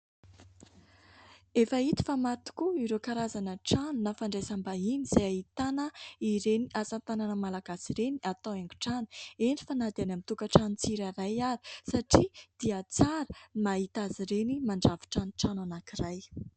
Efa hita fa maro tokoa ireo karazana trano na fandraisam-bahiny izay ahitana ireny asa tanana malagasy ireny atao haingon-trano, eny fa na dia any amin'ny tokantrano tsirairay ary satria dia tsara ny mahita azy ireny mandrafitra ny trano anankiray.